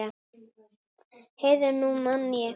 Heyrðu, nú man ég.